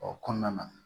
O kɔnɔna na